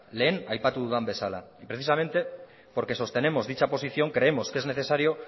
lehen aipatu dudan bezala y precisamente porque sostenemos dicha posición creemos que es necesario